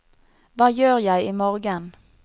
hva gjør jeg imorgen